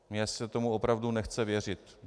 Mně se tomu opravdu nechce věřit.